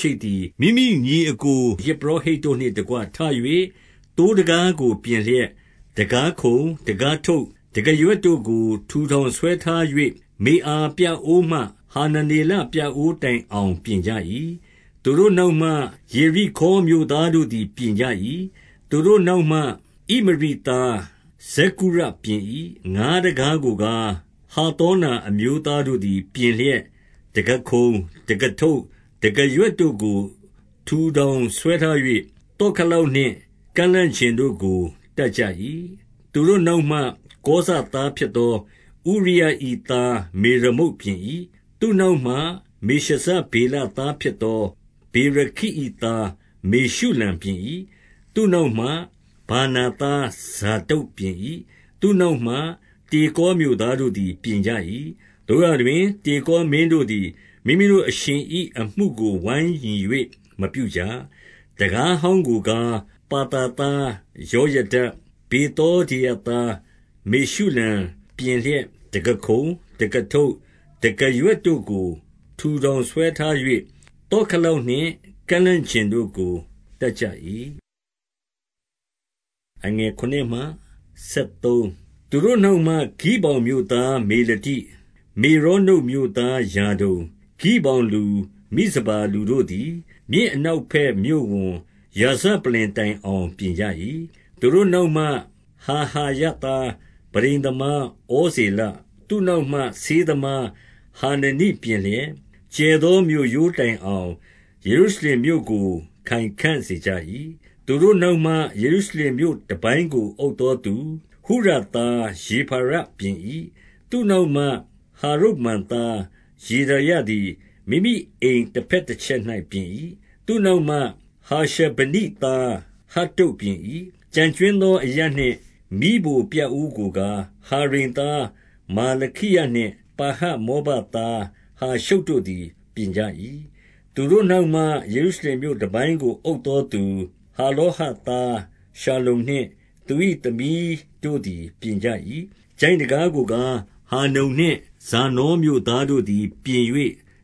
ရှိပ်သည်၊ မိမိညီအစ်ကို ယဇ်ပုရောဟိတ်တို့နှင့်တကွ ထ၍၊ သိုးတံခါး ကို ပြင်လျက် တံခါးခုံ၊ တံခါးထုပ်၊ တံခါးရွက်တို့ကို ထူထောင်ဆွဲထား၍၊ မေအာပြအိုးမှ ဟာနနေလပြအိုး တိုင်အောင် ပြင်ကြ၏။ 2 သူတို့နောက်မှ၊ ယေရိခေါမြို့သားတို့သည် ပြင်ကြ၏။ သူတို့နောက်မှ၊ ဣမရိသား ဇက္ကုရပြင်၏။ 3 ငါးတံခါးကိုကား၊ ဟဿေနာအမျိုးသားတို့သည် ပြင်လျက် တံခါးခုံ၊ တံခါးထုပ်၊ တံခါးရွက်တို့ကို ထူထောင် ဆွဲထား၍၊ သော့ခလောက်နှင့် ကန့်လန့်ကျင်တို့ကို တပ်ကြ၏။ 4 သူတို့နောက်မှ၊ ကောဇသားဖြစ်သော ဥရိယ၏ သား မေရမုတ်ပြင်၏။ သူ့နောက်မှ၊ မေရှဇဗေလသား ဖြစ်သော ဗေရခိ၏သားမေရှုလံ ပြင်၏။ သူ့နောက်မှ၊ ဗာနာသား ဇာဒုတ်ပြင်၏။ 5 သူ့နောက်မှ၊ တေကောမြို့သားတို့သည် ပြင်ကြ ၏။ သို့ရာတွင်၊ တေကောမင်းတို့သည် မိမိတို့အရှင်၏ အမှုကိုဝိုင်းညီ၍မပြုကြ။ 6 တံခါးဟောင်းကိုကား၊ ပါသာသားယောယဒ၊ ဗေသောဒေယသား မေရှုလံပြင်လျက်တံခါးခုံ၊ တံခါးထုပ်၊ တံခါးရွက်တို့ကို ထူထောင်ဆွဲထား၍၊ သော့ခလောက်နှင့် ကန့်လန့်ကျင်တို့ကို တပ်ကြ၏။ 7 သူတို့နောက်မှ၊ ဂိဗောင်မြို့သား မေလတိ၊ မေရောနုတ်မြို့သား ယာဒုန်၊ ဂိဗောင်လူ၊ မိဇပါလူတို့သည် မြစ်အနောက်ဘက် မြို့ဝန်ရာဇပလ္လင်တိုင်အောင် ပြင်ကြ ၏။ 8 သူတို့နောက်မှ ဟာဟာယသား ပန်းတိမ်သမား ဩဇေလ၊ သူ့နောက်မှ၊ ဆေးသမား ဟာနနိပြင်လျက်၊ ကျယ်သောမြို့ရိုးတိုင်အောင်၊ ယေရုရှလင်မြို့ကို ခိုင်ခံ့ စေကြ၏။ 9 သူတို့နောက်မှ၊ ယေရုရှလင်မြို့တပိုင်းကို အုပ်သောသူ၊ ဟုရသား ရေဖါယပြင်၏။ 10 သူ့နောက်မှ၊ ဟာရုမပ်သား ယေဒါယသည် မိမိအိမ်တဘက်တချက်၌ပြင်၏။ သူ့နောက်မှ၊ ဟာရှ ဗနိသား ဟတ္တုတ်ပြင်၏။ 11 ကျန်ကြွင်းသောအရပ်နှင့် မီးဖိုပြအိုးကိုကား၊ ဟာရိမ်သား မာလခိယနှင့်၊ ပါဟတ်မောဘသား ဟာရှုတ် တို့သည် ပြင်ကြ၏။ 12 သူတို့နောက်မှ၊ ယေရုရှလင်မြို့တပိုင်းကို အုပ် သောသူ၊ ဟာလောဟတ်သားရှလ္လုံနှင့် သူ၏သမီးတို့သည် ပြင်ကြ၏။ 13 ချိုင့်တံခါးကိုကား၊ ဟာနုန်နှင့် ဇာနောမြို့သား တို့သည် ပြင်၍